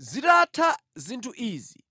Zitatha zinthu izi,